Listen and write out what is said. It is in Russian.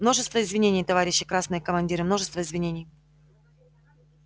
множество извинений товарищи красные командиры множество извинений